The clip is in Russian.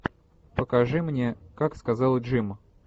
покажи мне как сказал джим